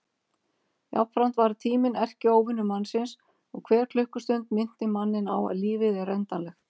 Jafnframt varð tíminn erkióvinur mannsins og hver klukkustund minnti manninn á að lífið er endanlegt.